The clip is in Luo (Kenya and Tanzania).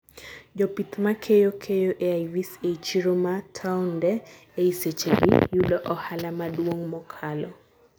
Jopith makeyo keyo AIVs ei chiro ma townde ei sechegi, yudo ohala maduong' mokalo